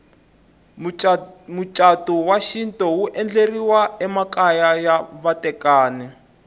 mucatu wa xintu wu endleriwa emakaya ya vatekani